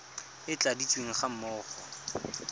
e e tladitsweng ga mmogo